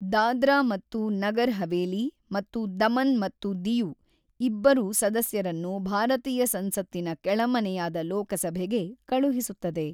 ದಾದ್ರಾ ಮತ್ತು ನಗರ್ ಹವೇಲಿ ಮತ್ತು ದಮನ್ ಮತ್ತು ದಿಯು ಇಬ್ಬರು ಸದಸ್ಯರನ್ನು ಭಾರತೀಯ ಸಂಸತ್ತಿನ ಕೆಳಮನೆಯಾದ ಲೋಕಸಭೆಗೆ ಕಳುಹಿಸುತ್ತದೆ.